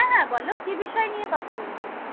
হ্যাঁ হ্যাঁ বলো, কি বিষয় নিয়ে কথা বলবে?